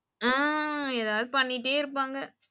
உம் ஏதாது பண்ணிட்டே இருப்பாங்க.